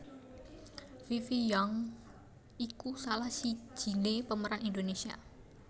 Fifi Young iku salah sijiné pemeran Indonesia